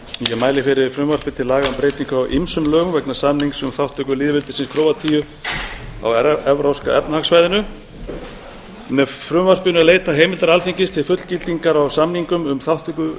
ég mæli fyrir frumvarpi til laga um breytingu á ýmsum lögum vegna samnings um þátttöku lýðveldisins króatíu á evrópska efnahagssvæðinu með frumvarpinu er leitað heimildar alþingis til fullgildingar á samningum um þátttöku